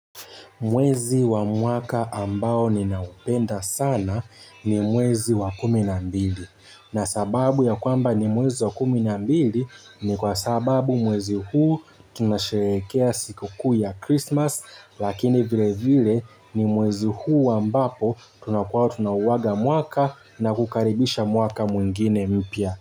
Mwezi wa mwaka ambao ninaupenda sana ni mwezi wa kumi na mbili na sababu ya kwamba ni mwezi wa kumi nambili ni kwa sababu mwezi huu tunasherekea siku kuu ya Christmas lakini vile vile ni mwezi huu ambapo tunakuwa tuna uwaga mwaka na kukaribisha mwaka mwingine mpya.